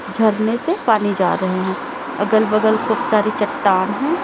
झरने से पानी जा रहे हैं अगल बगल खूब सारी चट्टान हैं।